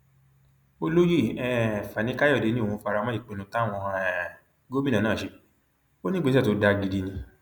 olóyè um fanikàyọdé ni òún fara mọ ìpinnu táwọn um gómìnà náà ṣe ó ní ìgbésẹ tó dáa gidi ni